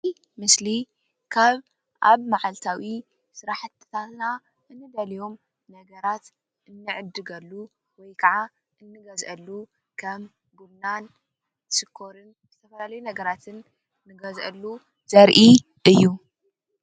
እዚ ምስሊ ካብ ኣብ ማዓልታዊ ስራሕትታትና እንደልዮም ነገራት እንዕድገሉን/ እንገዝኣሉ/ ከም ቡናን ሽኮርን ካልእ ነገራትን ንገዝአሉ ዘርኢ እዩ።